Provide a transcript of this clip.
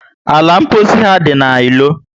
Ala mposi ha dị na ilo